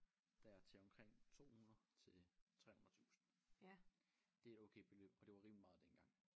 Der til omkring 200 til 300 tusind det et okay beløb og det var rimelig meget dengang